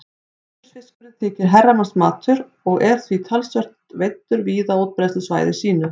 Pétursfiskurinn þykir herramannsmatur og er því talsvert veiddur víða á útbreiðslusvæði sínu.